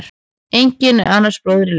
Enginn er annars bróðir í leik.